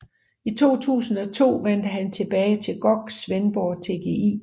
I 2002 vendte han tilbage til GOG Svendborg TGI